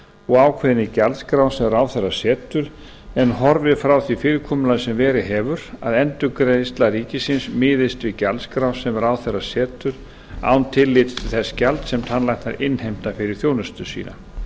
og ákveðin í gjaldskrá sem ráðherra setur en horfið frá því fyrirkomulagi sem verið hefur að endurgreiðsla ríkisins miðist við gjaldskrá sem ráðherra setur án tillits til þess gjalds sem tannlæknar innheimta fyrir þjónustu sína